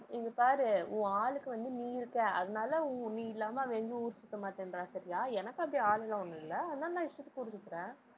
இங்க பாரு உன் ஆளுக்கு வந்து நீ இருக்க. அதனால ஊ~ நீ இல்லாம அவ எங்கும் ஊர் சுத்த மாட்டேன்றா சரியா எனக்கு அப்படி ஆளு எல்லாம் ஒண்ணும் இல்ல. அதனால நான் இஷ்டத்துக்கு ஊர் சுத்துறேன்.